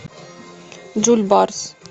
джульбарс